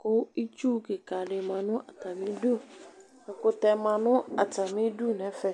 kʋ itsu kikadi manʋ atami idʋ ɛkʋtɛ manʋ atami idʋ nʋ ɛfɛ